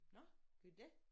Nåh gør de det?